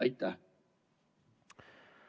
Aitäh!